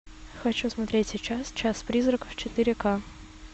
хочу смотреть сейчас час призраков четыре ка